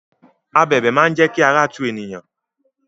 Abẹ̀bẹ̀ máa n jẹ kí ara tu eniyan.